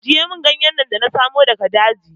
Ajiye min ganyen nan da na samu daga daji!